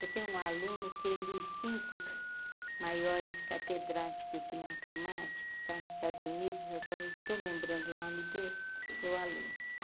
Eu tenho um aluno que é dos cinco maiores catedráticos de matemática que está nos Estados Unidos, agora eu não estou lembrando o nome dele, meu aluno.